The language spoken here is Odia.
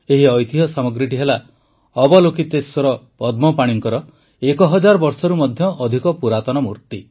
ଏହି ଐତିହ୍ୟ ସାମଗ୍ରୀଟି ହେଲା ଅବଲୋକିତେଶ୍ୱର ପଦ୍ମପାଣିଙ୍କର ଏକହଜାର ବର୍ଷରୁ ମଧ୍ୟ ଅଧିକ ପୁରାତନ ମୂର୍ତ୍ତି